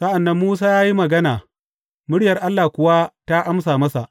Sa’an nan Musa ya yi magana, murya Allah kuwa ta amsa masa.